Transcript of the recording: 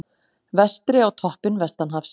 Vestri á toppinn vestanhafs